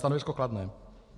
Stanovisko kladné.